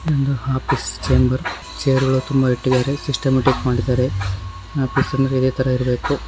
ಇದೊಂದು chamber chair ಗಳು ತುಂಬಾ ಇಟ್ಟಿದ್ದಾರೆ ಸಿಸ್ಟಮ್ಯಾಟಿಕ್ ಮಾಡಿದ್ದಾರೆ ಆಫಿಸ್ ಅಂದ್ರೆ ಇದೆ ಥರಾ ಇರಬೇಕು.